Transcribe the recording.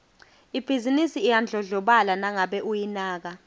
ibhizinisi iyadlondlobala nangabe uyinaka